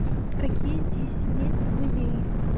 какие здесь есть музеи